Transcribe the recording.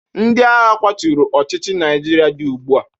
Ndị agha kwaturu ọchịchị Naijiria dị ugbu a.